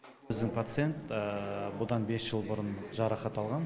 біздің пациент бұдан бес жыл бұрын жарақат алған